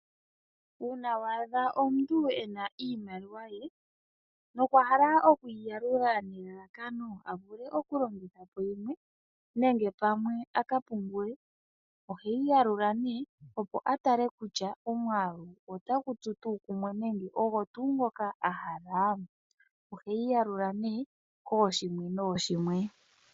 Uuna wa adha omuntu e na iimaliwa ye, nokwa hala oku yi yalula nelalakano a vule okulongitha po yimwe, nenge pamwe a ka pungule, oheyi yalula nee opo a tale kutya omwaalu otagu tsu tuu kumwe nenge ogo tuu ngoka a hala? Oheyi yalula nee kooshimwe nooshimwe.